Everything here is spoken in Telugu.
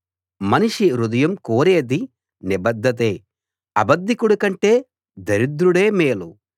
మనిషి హృదయం కోరేది నిబద్ధతే అబద్ధికుడికంటే దరిద్రుడే మేలు